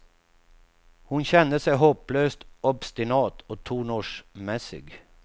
Hon kände sig hopplöst obstinat och tonårsmässig.